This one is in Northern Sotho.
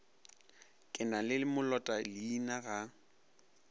ke na le molotaleina ga